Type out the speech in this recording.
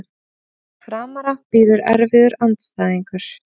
Framara bíður erfiður andstæðingur